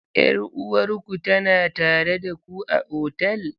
Yar uwarku tana tare da ku a otal?